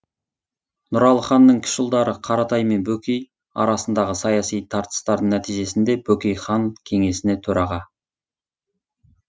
нұралы ханның кіші ұлдары қаратай мен бөкей арасындағы саяси тартыстардың нәтижесінде бөкей хан кеңесіне төраға